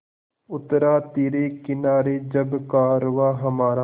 उतरा तिरे किनारे जब कारवाँ हमारा